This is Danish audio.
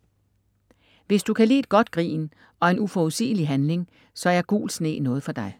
Hvis du kan lide et godt grin og en uforudsigelig handling, så er Gul sne noget for dig.